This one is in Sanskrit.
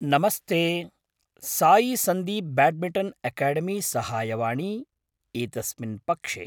नमस्ते, सायी सन्दीप् ब्याड्मिटन् एकेडेमी साहाय्यवाणी एतस्मिन् पक्षे।